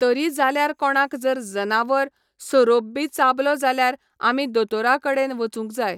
तरी जाल्यार कोणाक जर जनावर, सोरोप बी चाबलो जाल्यार आमी दोतोरा कडेन वचूंक जाय.